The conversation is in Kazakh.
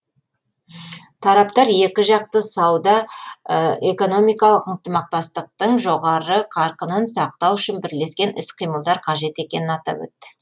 тараптар екіжақты сауда экономикалық ынтымақтастықтың жоғары қарқынын сақтау үшін бірлескен іс қимылдар қажет екенін атап өтті